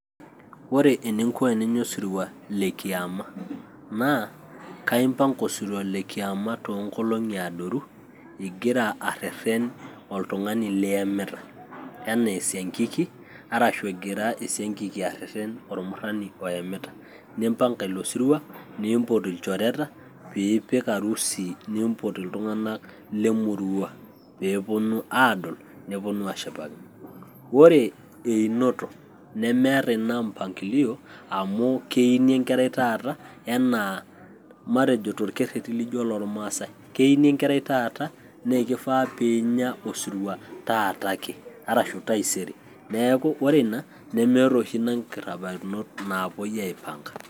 Ore eninko eninya osirua le kiama naa kaimpanga osirua le kiama toonkolong'i adoru igira arrerren oltung'ani liemita enaa esiankiki arashu egira esiankiki arrerren ormurrani oemita, nimpanga ilo sirua, niimpot ilchoreta piipik arusi niimpot iltung'anak le emurrua pee eponu aadol neponu aashipakino. Ore einoto nemeeta ina mpangilio amu keini enkerai taata enaa, matejo torkerreti lijio olormaasai; keini enkerai taata naa ekifaa piinya osirua taata ake, arashu taisere. Neeku ore ina nemeeta oshi ina imparakinot naapuoi aipanga.